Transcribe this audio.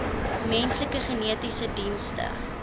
menslike genetiese dienste